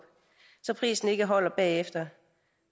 så prisen ikke holder bagefter